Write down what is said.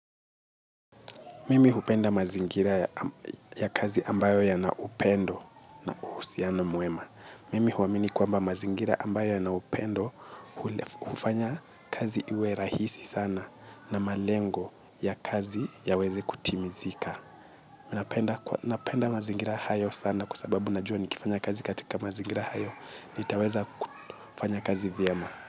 Mimi hupenda mazingira ya kazi ambayo ya naupendo na uhusiano mwema. Mimi huwamini kwamba mazingira ambayo yanaupendo ufanya kazi iwe rahisi sana na malengo ya kazi ya weze kutimizika. Mi napenda mazingira hayo sana kwa sababu najua nikifanya kazi katika mazingira hayo nitaweza kufanya kazi vyema.